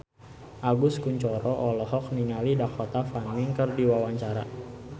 Agus Kuncoro olohok ningali Dakota Fanning keur diwawancara